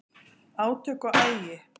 Átök og agi